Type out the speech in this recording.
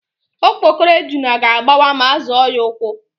Okpokoro ejuna ga-agbawa ma a zọọ ya ụ́kwụ́.